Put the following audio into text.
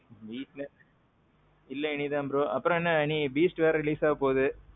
வீட்ல. இல்ல இனிதான் bro. அப்பறோம் என்ன இன்னிக்கி Beast வேற release ஆக போகுது.